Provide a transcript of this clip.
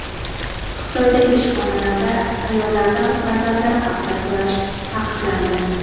Xitoydagi ishxonalarda ayollardan farzandlari haqida so‘rash taqiqlandi.